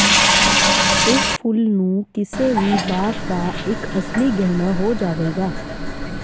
ਇਸ ਫੁੱਲ ਨੂੰ ਕਿਸੇ ਵੀ ਬਾਗ ਦਾ ਇੱਕ ਅਸਲੀ ਗਹਿਣਾ ਹੋ ਜਾਵੇਗਾ